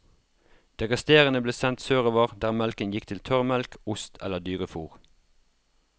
Det resterende ble sendt sørover der melken gikk til tørrmelk, ost eller dyrefôr.